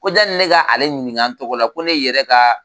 Ko janni ne ka ale ɲininka n tɔgɔ la ko ne yɛrɛ ka